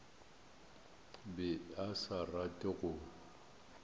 be a sa rate go